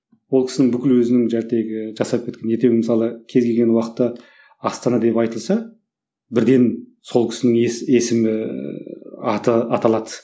ол кісінің бүкіл өзінің жасап кеткен ертең мысалы кез келген уақытта астана деп айтылса бірден сол кісінің есімі аты аталады